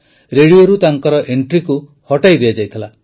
ରେଡିଓରୁ ତାଙ୍କ ଏଂଟ୍ରିକୁ ହଟାଇ ଦିଆଯାଇଥିଲା